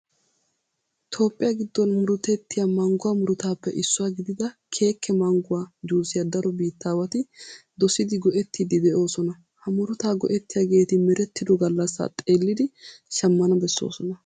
Toophphiya giddon murutettiya Mangguwa murutaappe issuwa gidida keekee mangguwa juusiya daro biittaawati dosidi go"ettiiddi de'oosona. Ha murutaa go"ettiyageeti merettido gallassaa xeellidi shammana bessoosona.